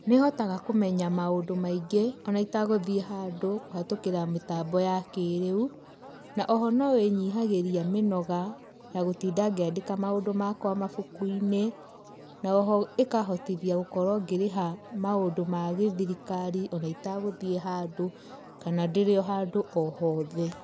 Nĩ hotaga kũmenya maũndũ maingĩ o na itagũthiĩ handũ kũhatũkĩra mĩtambo ya kĩrĩu na o ho no ĩnyihagĩria mĩnoga ya gũtinda ngĩandĩka maũndũ makwa mabũkũ-inĩ na o ho ĩkahotĩthia gũkorwo ngĩrĩha maũndũ ma gĩthirikari ona ĩtagũthiĩ handũ kana ndĩrĩo handũ o hothe.